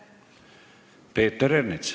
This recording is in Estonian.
Peeter Ernits.